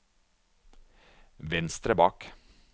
venstre bak